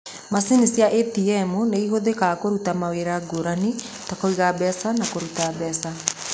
Macini cia ĩtiemu nĩ ihũthĩkaga kũruta mawĩra ngũrani ta kũiga mbeca na kũruta mbeca.